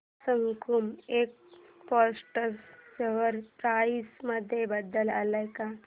सकुमा exports share price मध्ये बदल आलाय का